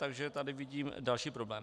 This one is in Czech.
Takže tady vidím další problém.